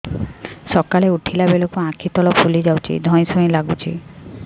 ସକାଳେ ଉଠିଲା ବେଳକୁ ଆଖି ତଳ ଫୁଲି ଯାଉଛି ଧଇଁ ସଇଁ ଲାଗୁଚି